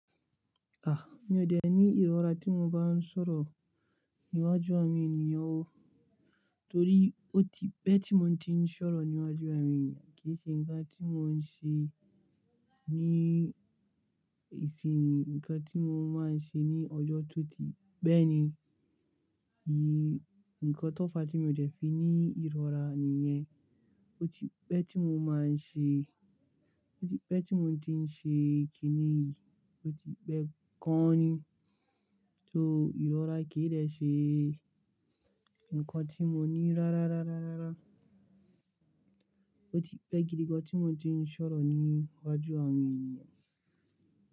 À, mi ò dẹ̀ ní ìrora tí mo bá ń sọ̀rọ̀ níwájú àwọn ènìyàn o, torí ó ti pẹ́ tí mo ti ń sọ̀rọ̀ níwájú àwọn ènìyàn kì í ṣe ǹkan tí mò ń ṣe ní ìsinsìnyí, ǹkan tí mo máa ń ṣe ní ọjọ́ tó ti pẹ́ẹ̀ ni. Ni ǹkan tó fà tí mò dẹ̀ fi ní ìrora nìyẹn, ó ti pẹ́ tí mo máa ń ṣe, ó ti pẹ́ tí mo ti ń ṣe kìíni, ó ti pẹ́ gan ni. So ìrora kì í dẹ́ ṣe ǹkan tí mò ní rárá, rárá, rárá, rárá. Ó ti pẹ́ gidi gan tí mò ti ń sọ̀rọ̀ níwájú àwọn ènìyàn.